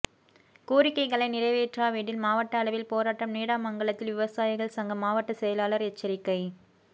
ேகாரிக்கைகளை நிறைவேற்றாவிடில் மாவட்ட அளவில் போராட்டம் நீடாமங்கலத்தில் விவசாயிகள் சங்க மாவட்ட செயலாளர் எச்சரிக்கை